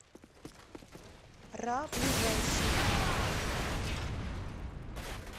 ра ближайший